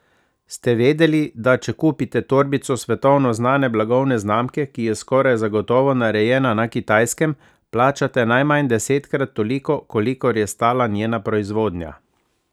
Ste vedeli, da če kupite torbico svetovno znane blagovne znamke, ki je skoraj zagotovo narejena na Kitajskem, plačate najmanj desetkat toliko, kolikor je stala njena proizvodnja?